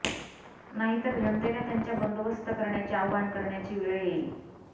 नाहीतर जनतेला त्यांचा बंदोबस्त करण्याचे आवाहन करण्याची वेळ येईल